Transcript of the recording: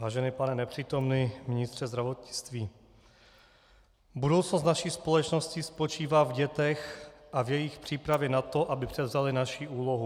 Vážený pane nepřítomný ministře zdravotnictví, budoucnost naší společnosti spočívá v dětech a v jejich přípravě na to, aby převzaly naši úlohu.